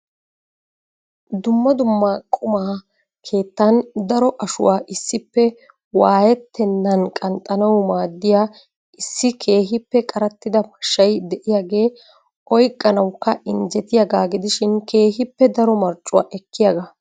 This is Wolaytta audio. Dumma dumma quma keettan daro ashuwaa issippe waayyettenan qnaxxanaw maaddiya issi keehippe qarattida mashshay de'iyaage oyqqanawukka injjetiyaaga gidishin keehippe daro marccuwaa ekkiyaaga.